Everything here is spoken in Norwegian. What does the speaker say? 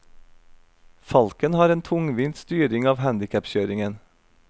Falken har en tungvint styring av handicapkjøringen.